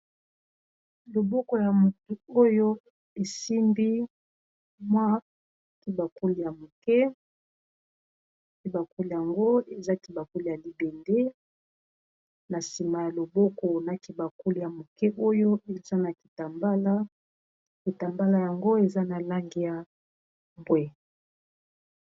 loboko ya motu oyo esimbi mwa kibakuli, yango ezakibakuli ya libende na nsima ya loboko na kibakuli ya moke oyo eza na kitambala kitambala yango eza na lange ya mbwe.